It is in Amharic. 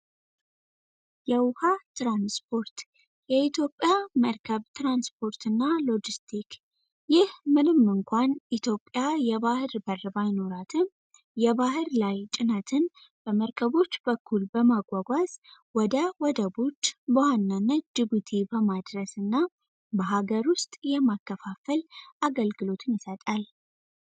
የኢትዮጵያ ትራንስፖርት የኢትዮጵያ ባቡር ትራንስፖርት እና ሎጂስቲክ ኢትዮጵያ የባህር በር ባይኖራትም የባህር ዳርቻ በመርከቦች በኩል በማጓጓዝ በወደቦች በዋናነት ጅቡቲ በማድረስ እና በሃገር ውስጥ የማከፋፈል አገልግሎት ይሰጣል።